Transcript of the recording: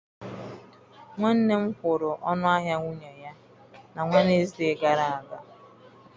Nwanne m kwụrụ ọnụ ahịa nwunye ya na Wenesde gara aga.